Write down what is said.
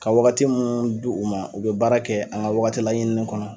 Ka wagati mun di u ma u bɛ baara kɛ an ŋa wagati laɲinini kɔnɔ